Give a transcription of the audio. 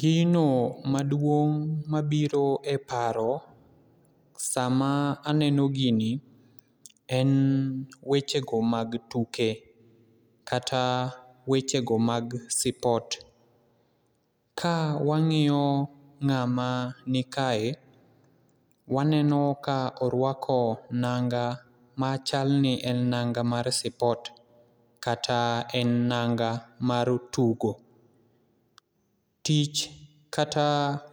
Gino maduong' mabiro e paro saa ma aneno gini en weche go mag tuke kata weche go mag sipot. Ka wang'iyo ng'ama nikae , waneno ka orwako nanga machal ni en nanga mar sipot kata en nanga mar tugo. Tich kata